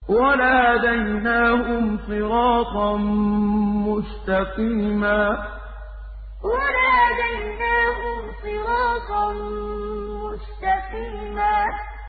وَلَهَدَيْنَاهُمْ صِرَاطًا مُّسْتَقِيمًا وَلَهَدَيْنَاهُمْ صِرَاطًا مُّسْتَقِيمًا